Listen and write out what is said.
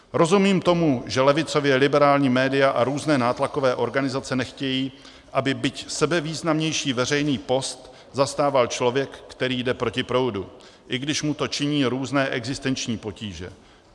Rozumím tomu, že levicově liberální média a různé nátlakové organizace nechtějí, aby byť sebevýznamnější veřejný post zastával člověk, který jde proti proudu, i když mu to činí různé existenční potíže.